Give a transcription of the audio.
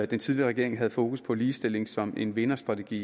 den tidligere regering havde fokus på ligestilling som en vinderstrategi